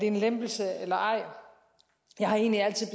en lempelse eller ej at jeg egentlig altid